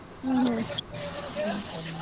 ಹ್ಮ್ ಹ್ಮ್